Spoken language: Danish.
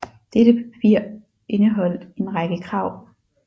Dette papir indeholdt en række krav